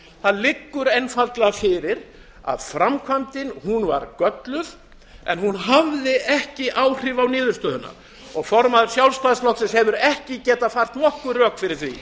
það liggur einfaldlega fyrir að framkvæmdin var gölluð en hún hafði ekki áhrif á niðurstöðuna og formaður sjálfstæðisflokksins hefur ekki getað fært nokkur rök fyrir því